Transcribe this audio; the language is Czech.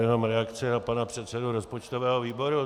Jenom reakce na pana předsedu rozpočtového výboru.